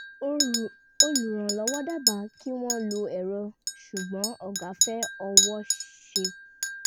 olùrànlọ́wọ́ dábàá kí wọ́n lo ẹ̀rọ ṣùgbọ́n ọ̀gá fẹ́ ọwọ́ṣe